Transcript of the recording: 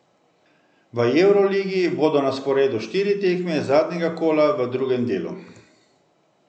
V evroligi bodo na sporedu štiri tekme zadnjega kola v drugem delu.